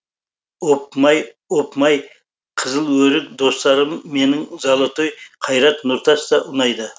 опмай опмай қызыл өрік достарым менің золотой қайрат нұртас та ұнайды